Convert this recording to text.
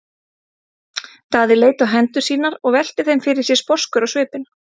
Daði leit á hendur sínar og velti þeim fyrir sér sposkur á svipinn.